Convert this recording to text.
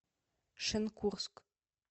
шенкурск